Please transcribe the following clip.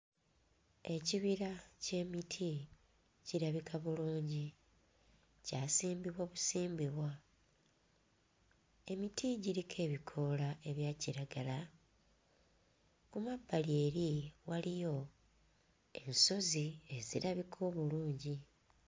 Ekibira ky'emiti kirabika bulungi kyasimbibwa busimbibwa emiti giriko ebikoola ebya kiragala. Ku mabbali eri waliyo ensozi ezirabika obulungi.